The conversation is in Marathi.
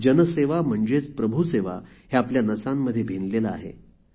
जनसेवा म्हणजेच प्रभुसेवा हे आमच्या नसांमध्ये भिनले आहे